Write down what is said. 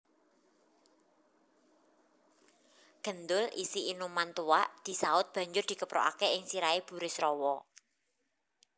Gendul isi inuman tuak disaut banjur dikeprukaké ing sirahé Burisrawa